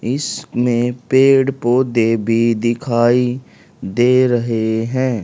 इसमे पेड़ पौधे भी दिखाई दे रहे हैं।